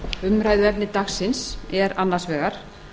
umræðuefni dagsins er annars vegar